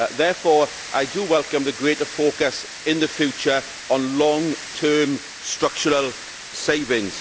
Therefore I welcome the greater focus in the future on long term structural savings.